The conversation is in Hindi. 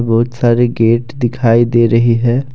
बहुत सारे गेट दिखाई दे रही है।